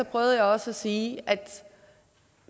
prøvede jeg også at sige at